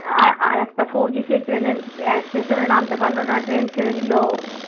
আর একটা ফৌজি সে ট্রেনে, station এ নামতে পারল না ট্রেন ছেড়ে দিল।